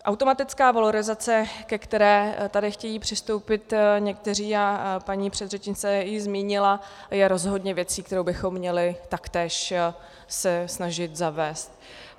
Automatická valorizace, ke které tady chtějí přistoupit někteří, a paní předřečnice ji zmínila, je rozhodně věcí, kterou bychom měli taktéž se snažit zavést.